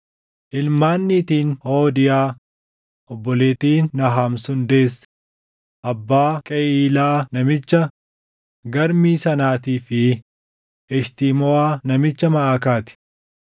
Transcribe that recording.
Ilmaan niitiin Hoodiyaa obboleettiin Naham sun deesse: Abbaa Qeyiilaa namicha Garmii sanaatii fi Eshtimoʼaa namicha Maʼakaa ti.